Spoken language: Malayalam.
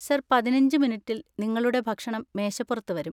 സർ, പതിനഞ്ച് മിനിറ്റിൽ നിങ്ങളുടെ ഭക്ഷണം മേശപ്പുറത്ത് വരും.